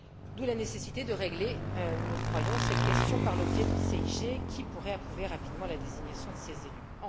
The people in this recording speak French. D'où la nécessité de régler, nous le croyons, cette question par le biais d'une CIG qui pourrait approuver rapidement la désignation de ces élus.